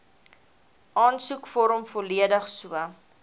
aansoekvorm volledig so